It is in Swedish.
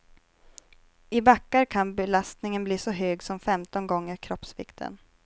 I backar kan belastningen bli så hög som femton gånger kroppsvikten.